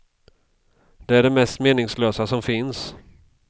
Det är det mest meningslösa som finns.